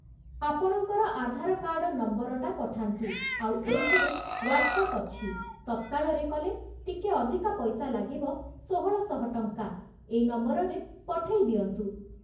ଆପଣଙ୍କର ଆଧାର କାର୍ଡ଼ ନମ୍ବରଟା ପଠାନ୍ତୁ, ଆଉ ଏଇଥିରେ ୱାଟସଆପ ଅଛି, ତତ୍କାଳ ରେ କଲେ ଟିକେ ଅଧିକା ପଇସା ଲାଗିବ ଷୋହଳଶହ ଟଙ୍କା ଏଇ ନମ୍ବରରେ ପଠେଇ ଦିଅନ୍ତୁ ।